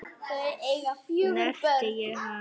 Snerti ég hann?